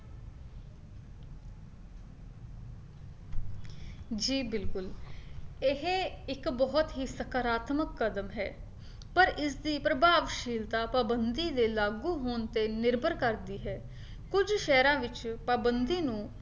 ਜੀ ਬਿਲਕੁਲ ਇਹ ਇੱਕ ਬਹੁਤ ਹੀ ਸਕਰਾਤਮਕ ਕਦਮ ਹੈ, ਪਰ ਇਸ ਦੀ ਪ੍ਰਭਾਵਸ਼ੀਲਤਾ ਪਾਬੰਦੀ ਦੇ ਲਾਗੂ ਹੋਣ ਤੇ ਨਿਰਭਰ ਕਰਦੀ ਹੈ ਕੁੱਝ ਸ਼ਹਿਰਾਂ ਵਿੱਚ ਪਾਬੰਦੀ ਨੂੰ